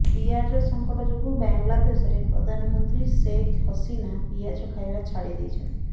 ପିଆଜ ସଙ୍କଟ ଯୋଗୁଁ ବାଂଲାଦେଶର ପ୍ରଧାନମନ୍ତ୍ରୀ ଶେଖ୍ ହସିନା ପିଆଜ ଖାଇବା ଛାଡ଼ି ଦେଇଛନ୍ତି